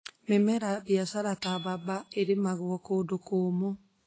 Mĩmera ya biacara ta mbamba ĩrĩmagwo kũndũ kũũmũ.